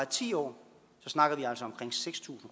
ti år snakker vi altså omkring seks tusind